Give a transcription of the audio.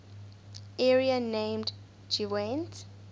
area named gwent